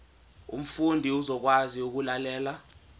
umfundi uzokwazi ukulalela